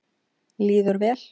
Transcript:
Líður vel.